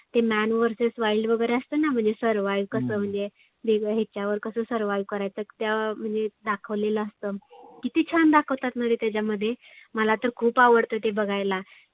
ते man verses wild वगैरे असत ना. म्हणजे survive कसं म्हणजे ते ह्याच्यावर कसं survive करायचं त्या म्हणजे दाखवलेलं असतं. किती छान दाखवतात ना रे त्याच्यामध्ये मला तर खुप आवडतं ते बघायला.